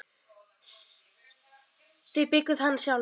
Þið byggðuð hann sjálf.